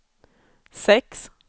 sex